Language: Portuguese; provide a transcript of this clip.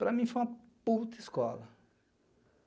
Para mim foi uma puta escola.